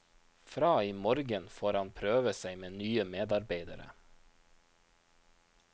Fra i morgen får han prøve seg med nye medarbeidere.